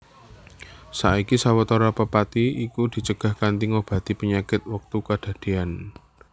Saiki sawetara pepati iku dicegah kanthi ngobati panyakit wektu kedadéyan